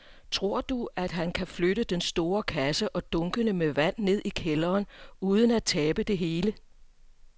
Tror du, at han kan flytte den store kasse og dunkene med vand ned i kælderen uden at tabe det hele?